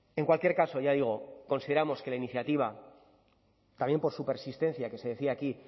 en cualquier caso ya digo consideramos que la iniciativa también por su persistencia que se decía aquí